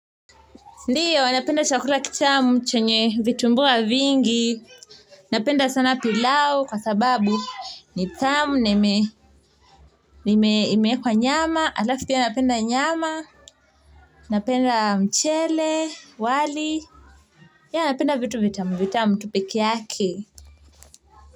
Ndiyo, napenda chakula kitamu chenye vitumbua vingi. Napenda sana pilau kwa sababu ni tamu. Na imeekwa nyama, halafu pia napenda nyama, napenda mchele, wali. Ya, napenda vitu, vitamu, vitamu, tu peke yake.